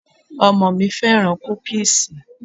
Ọmọ mi féràn kúkíísì.